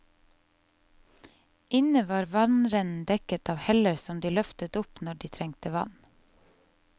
Inne var vannrennen dekket av heller som de løftet opp når de trengte vann.